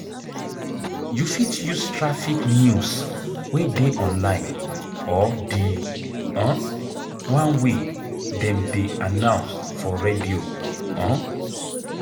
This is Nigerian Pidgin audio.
You fit use traffic news wey dey online or di um one wey dem dey announce for radio um